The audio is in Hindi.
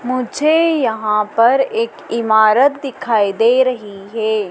मुझे यहां पर एक इमारत दिखाई दे रही है।